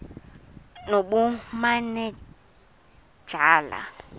nobumanejala